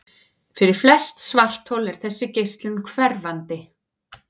Fyrir flest svarthol er þessi geislun hverfandi.